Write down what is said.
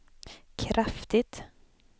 kraftigt